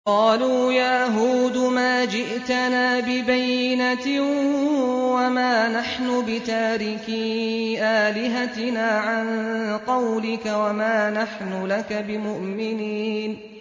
قَالُوا يَا هُودُ مَا جِئْتَنَا بِبَيِّنَةٍ وَمَا نَحْنُ بِتَارِكِي آلِهَتِنَا عَن قَوْلِكَ وَمَا نَحْنُ لَكَ بِمُؤْمِنِينَ